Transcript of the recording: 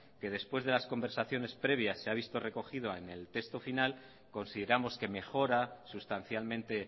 que después de las conversaciones previas se ha visto recogido en el texto final consideramos que mejora sustancialmente